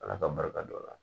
Ala ka barika da o la